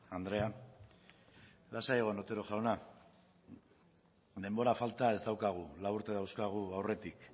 andrea lasai egon otero jauna denbora falta ez daukagu lau urte dauzkagu aurretik